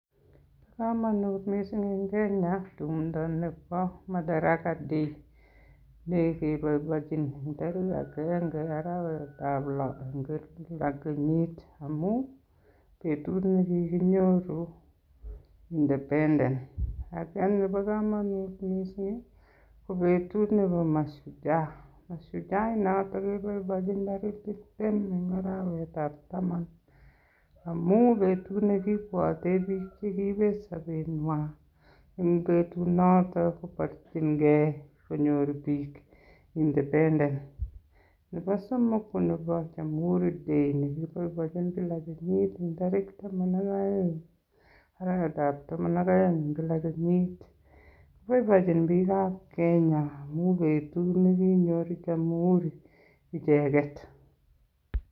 Komonut mising en Kenya tumdo nebo Madaraka Day ne keboiboichin en tarigit agenge arawetab Lo kile kenyit. Amun betut ne kiginyoru independence ak nebo komonut mising ko betut nebo Mashujaa. Mashujaa inoto keboiboiechin kila tarik tibtem en arawetab taman amun betut nekibwote biik che kiibet sobenywan en betunoto koborchinge konyor biik independence. Nebo somok ko nebo Jamhuri Day nekiboiboenchin kila kenyit en tarik taman ak oeng arawetab taman ak oeng en kila kenyit. Boiboenchin biikab Kenya amun betut nekiyor Jamhuri icheget.